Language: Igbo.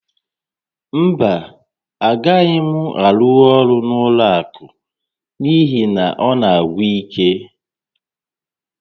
Mba, agaghị m arụnwu ọrụ n'ụlọ àkụ̀ n'ihi na ọ na-agwụ íké